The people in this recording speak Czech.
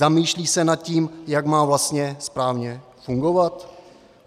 Zamýšlí se nad tím, jak má vlastně správně fungovat?